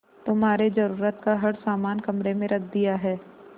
तुम्हारे जरूरत का हर समान कमरे में रख दिया है